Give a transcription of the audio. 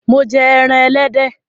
Mo jẹ ẹran Ẹlẹ́dẹ̀